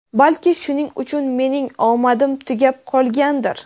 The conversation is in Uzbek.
balki shuning uchun mening omadim tugab qolgandir.